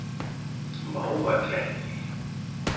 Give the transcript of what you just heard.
Mávakletti